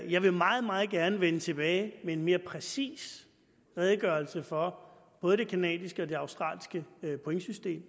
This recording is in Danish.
jeg vil meget meget gerne vende tilbage med en mere præcis redegørelse for både det canadiske og det australske pointsystem